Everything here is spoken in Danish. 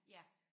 Ja